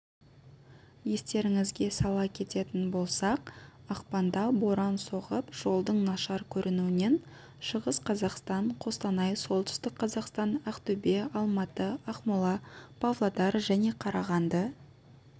естеріңізге сала кететін болсақ ақпанда боран соғып жолдың нашар көрінуінен шығыс қазақстан қостанай солтүстік қазақстан ақтөбе алматы ақмола павлодар және қарағанды